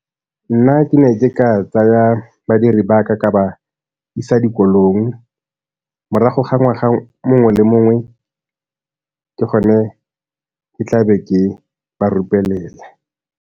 Nna ke ne ke ka tsaya badiri ba ka ka ba isa dikolong morago ga ngwaga mongwe le mongwe ke gone ke tla be ke ba .